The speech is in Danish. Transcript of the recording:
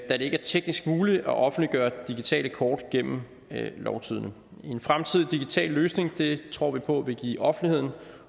ikke er teknisk muligt at offentliggøre digitale kort gennem lovtidende en fremtidig digital løsning tror vi på vil give offentligheden